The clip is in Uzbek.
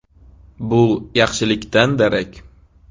Bu yaxshilikdan darak.